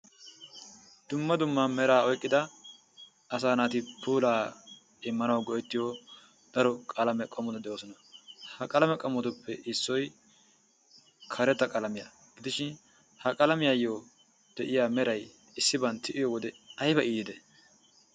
Dumma dumma meraa oyqqida asaa naati puulaa naaganawu daro qalame qommoti de'oosona. Ha qalame qommotuppe issoy karetta qalamiya gidishin ha qalamiyayo issiban tiyiyo wode meray ayba iitii?